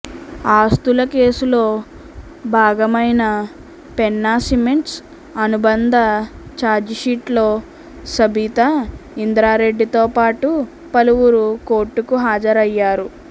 ఆస్తుల కేసులో భాగమైన పెన్నా సిమెంట్స్ అనుబంధ చార్జీషీట్లో సబితా ఇంద్రారెడ్డితో పాటు పలువురు కోర్టుకు హాజరయ్యారు